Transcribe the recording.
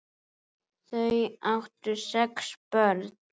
Þau áttu sex börn.